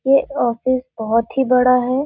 ये ऑफिस बहुत ही बड़ा है।